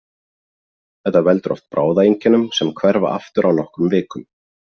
Þetta veldur oft bráðaeinkennum sem hverfa aftur á nokkrum vikum.